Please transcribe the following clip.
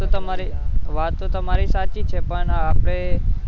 વાત તો તમારી, વાત તો તમારી સાચી છે પણ આપણે